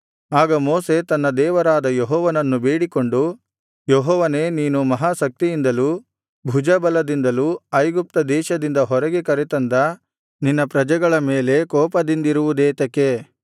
ಆಗ ಮೋಶೆ ತನ್ನ ದೇವರಾದ ಯೆಹೋವನನ್ನು ಬೇಡಿಕೊಂಡು ಯೆಹೋವನೇ ನೀನು ಮಹಾ ಶಕ್ತಿಯಿಂದಲೂ ಭುಜಬಲದಿಂದಲೂ ಐಗುಪ್ತ ದೇಶದಿಂದ ಹೊರಗೆ ಕರೆತಂದ ನಿನ್ನ ಪ್ರಜೆಗಳ ಮೇಲೆ ಕೋಪದಿಂದುರಿಯುವುದೇತಕೆ